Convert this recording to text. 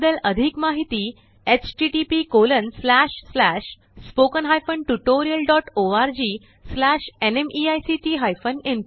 या बद्दलअधिक माहितीhttpspoken tutorialorgNMEICT Intro